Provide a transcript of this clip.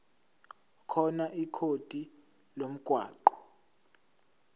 khona ikhodi lomgwaqo